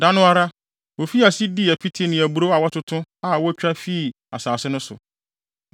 Da no ara, wofii ase dii apiti ne aburow a wɔatoto a wotwa fii asase no so.